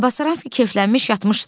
Tabasaranski keflənmiş yatmışdı.